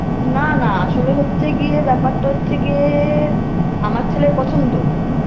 না না আসলে হচ্ছে গিয়ে ব্যাপার টা হচ্ছে গিয়ে আমার ছেলের পছন্দ